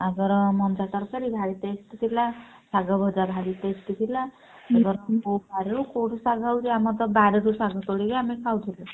ଆଉ ଧର ମଞ୍ଜା ତରକାରୀ ଭାରୀ tasty ଥିଲା ଶାଗ ଭଜା ଭାରୀ tasty ଥିଲା କୋଉ ବାଡିରୁ କୋଉଠୁ ଶାଗ ହଉଛି ଆମର ତ ବାଡିରୁ ଶାଗ ତୋଳିକି ଆମେ ଖାଉଥିଲୁ।